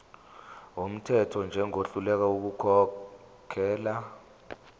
wumthetho njengohluleka ukukhokhela